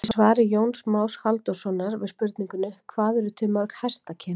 Í svari Jóns Más Halldórssonar við spurningunni Hvað eru til mörg hestakyn?